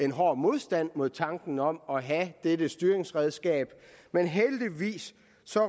en hård modstand mod tanken om at have dette styringsredskab men heldigvis